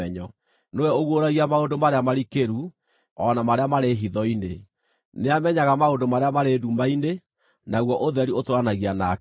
Nĩwe ũguũragia maũndũ marĩa marikĩru, o na marĩa marĩ hitho-inĩ; nĩamenyaga maũndũ marĩa marĩ nduma-inĩ, naguo ũtheri ũtũũranagia nake.